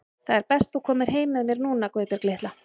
Það er best þú komir heim með mér núna, Guðbjörg litla.